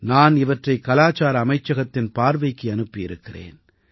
நான் இவற்றை கலாச்சார அமைச்சகத்தின் பார்வைக்கு அனுப்பி வைத்திருக்கிறேன்